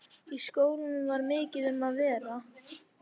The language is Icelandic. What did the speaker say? Í skólanum var mikið um að vera.